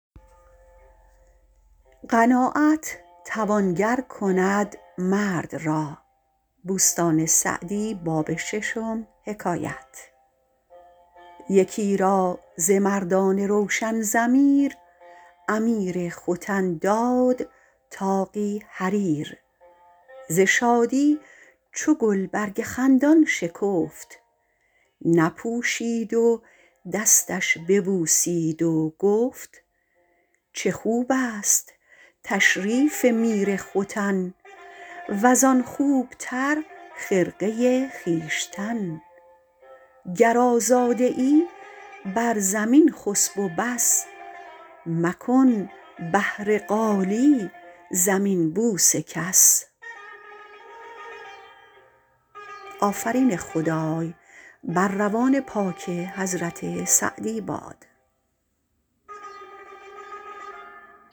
یکی را ز مردان روشن ضمیر امیر ختن داد طاقی حریر ز شادی چو گلبرگ خندان شکفت نپوشید و دستش ببوسید و گفت چه خوب است تشریف میر ختن وز او خوب تر خرقه خویشتن گر آزاده ای بر زمین خسب و بس مکن بهر قالی زمین بوس کس